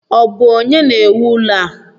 Ọ bụ onye na-ewu ụlọ a?